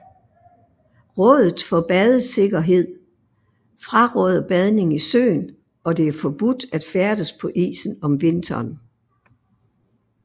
Rådet for badesikkerhed fraråder badning i søen og det er forbudt at færdes på isen om vinteren